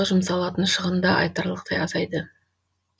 жұмсалатын шығын да айтарлықтай азайды